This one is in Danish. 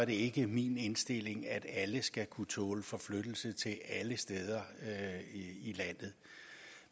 ikke min indstilling at alle skal kunne tåle forflyttelse til alle steder i landet